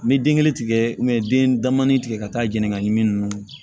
N bɛ den kelen tigɛ den da mani tigɛ ka taa jeni ka ɲin ninnu